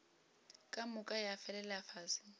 ka moka ya felela fase